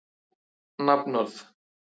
Látið malla í hálftíma.